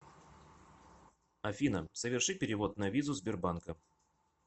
афина соверши перевод на визу сбербанка